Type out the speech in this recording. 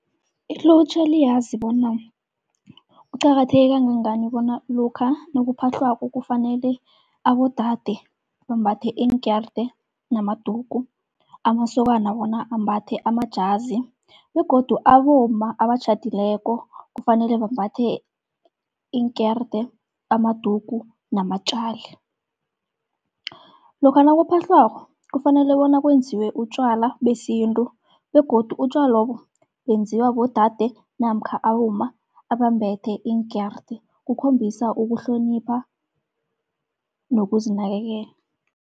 Ilutjha liyazi bona kuqakatheke kangangani bona lokha nakuphahlwako kufanele abodade bambathe iinkerede namadugu. Amasokana wona ambathe amajazi begodu abomma abatjhadileko kufanele bambathe iinkerede amadugu namatjali. Lokha nakuphahlwako kufanele bona kwenziwe utjwala besintu begodu utjwalobo benziwa bodade namkha abomma abambethe iinkerede, kukhombisa ukuhlonipha nokuzinakekela.